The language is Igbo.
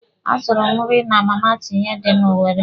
A zụrụ m nri na Mama Tinye dị na Owere.